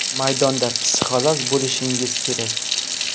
Maydonda psixolog bo‘lishingiz kerak.